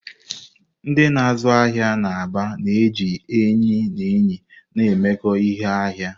Ndị na-azụ ahịa n'Aba na-eji enyi na enyi na-emekọ ihe n'ahịa.